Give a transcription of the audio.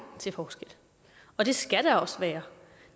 til forskel og det skal der også være